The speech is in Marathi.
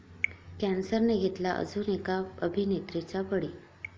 कॅन्सरने घेतला अजून एका अभिनेत्रीचा बळी